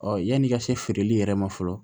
yanni i ka se feereli yɛrɛ ma fɔlɔ